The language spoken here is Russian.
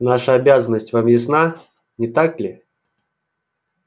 наша обязанность вам ясна не так ли